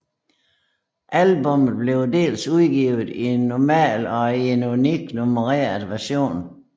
Albummet blev dels udgivet i en normal og i en unik nummereret version